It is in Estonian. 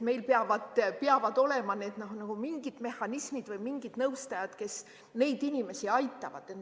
Meil peavad olema mingid mehhanismid või mingid nõustajad, kes neid inimesi aitavad.